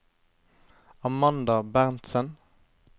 Amanda Berntsen